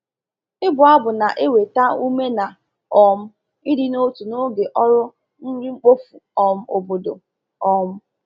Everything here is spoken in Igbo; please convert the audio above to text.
Ịbụ abụ na-eweta ume na um ịdị n’otu n’oge ọrụ nri mkpofu um obodo. um